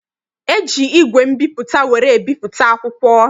E ji igwe mbipụta were ebipụta akwụkwọ.